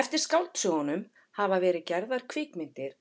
Eftir skáldsögunum hafa verið gerðar kvikmyndir